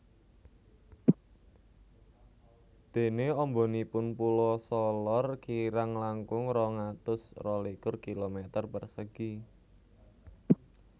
Dene ambanipun Pulo Solor kirang langkung rong atus rolikur kilometer persegi